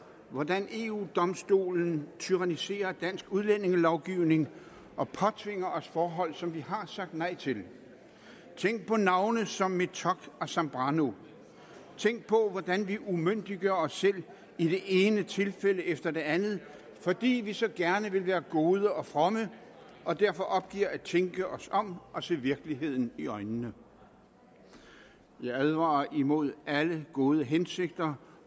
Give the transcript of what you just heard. hvordan eu domstolen tyranniserer dansk udlændingelovgivning og påtvinger os forhold som vi har sagt nej til tænk på navne som metock og zambrano tænk på hvordan vi umyndiggør os selv i det ene tilfælde efter det andet fordi vi så gerne vil være gode og fromme og derfor opgiver at tænke os om og se virkeligheden i øjnene jeg advarer imod alle gode hensigter